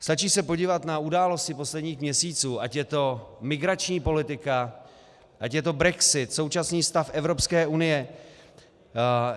Stačí se podívat na události posledních měsíců, ať je to migrační politika, ať je to brexit, současný stav Evropské unie.